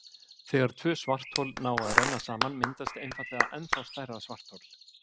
þegar tvö svarthol ná að renna saman myndast einfaldlega ennþá stærra svarthol